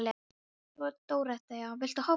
Dóróthea, viltu hoppa með mér?